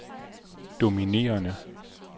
dominerende